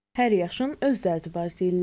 Hər yaşın öz dərdi var deyirlər.